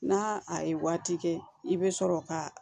N'a a ye waati kɛ i bɛ sɔrɔ ka